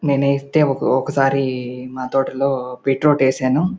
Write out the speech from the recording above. నేనైతే ఒకసారి మా తోటలో బీట్రూట్ వేసాను.